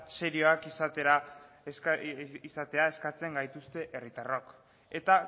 serioak izatea eskatzen gaituzte herritarrok eta